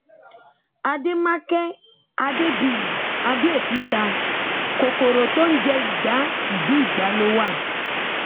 àdèmákẹ́ adébíyì àbẹòkúta kòkòrò tó ń jẹ igba ìdí igba ló wà